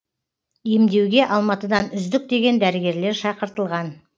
емдеуге алматыдан үздік деген дәрігерлер шақыртылған